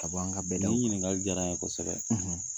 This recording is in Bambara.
Ka bɔ an ka bɛdaw ni ɲininkali jara n ye kosɛbɛ.